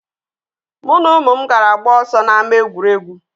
Mụ na ụmụ m gara gbaa ọsọ na ama egwuregwu.